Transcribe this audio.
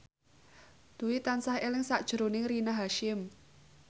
Dwi tansah eling sakjroning Rina Hasyim